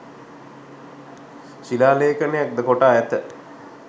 ශිලා ලේඛනයක්ද කොටා ඇත.